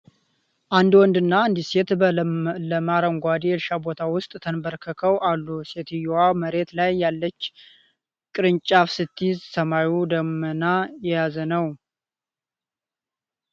አንድ ወንድና አንዲት ሴት በለመለመ አረንጓዴ የእርሻ ቦታ ውስጥ ተንበርክከው አሉ። ሴትየዋ መሬት ላይ ያለች ቅርንጫፍ ስትይዝ ሰማዩ ደመና የያዘ ነው።